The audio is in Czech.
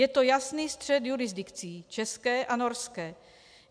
Je to jasný střet jurisdikcí, české a norské.